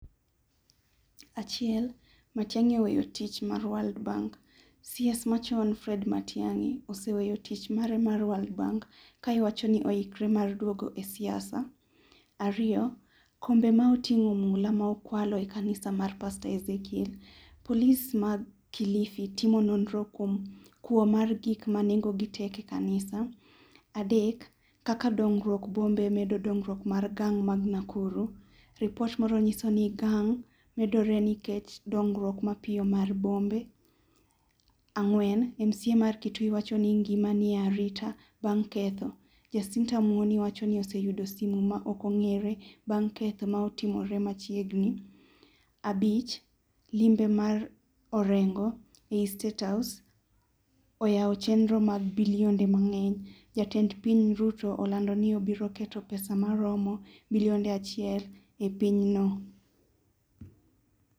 Achiel, Matiang'i oweyo tich mar world bank, CS machon Fred Matiang'i oseweyo tich mare mare World bank kiwachoni oikre mar duogo e siasa. Ariyo, kombe ma otingo mula ma okwalo e kanisa mar pastor Ezekiel, polis ma kilifi timo nnro kuom kuo mar gik ma nengo gi tek e kanisa. Adek, kaka dongruok bombe medo dongruok mar gang ma Nakuru, ripot moro nyiso ni gang moro medore nikech medruok mapiyo mar bombe. Ang'wen ,MCA ma Kitui wachoni ngimane nie arita bang' ketho. Jacinta Muoni wachoni oseyudo simu ma ok ongere bang' ketho ma otimore machiegni. Abich, limbe mar Orengo e state house oyao chenro mar bilionde mangeny, jatend piny Ruto olando ni obiro keto pesa maromo bilionde achiel e piny no